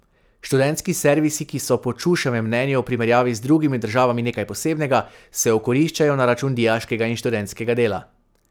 Študentski servisi, ki so po Čuševem mnenju v primerjavi z drugimi državami nekaj posebnega, se okoriščajo na račun dijaškega in študentskega dela.